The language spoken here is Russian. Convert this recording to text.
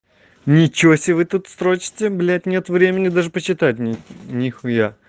ничего себе вы тут строчите блять нет времени даже почитать мне нихуя